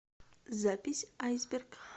запись айсберг